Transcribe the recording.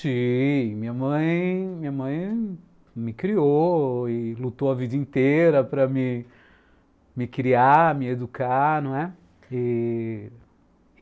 Sim, minha mãe minha mãe me criou e lutou a vida inteira para me criar, me educar, não é?